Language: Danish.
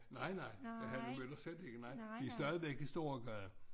Nej nej Hanne Møller slet ikke nej vi er stadivæk i Storegade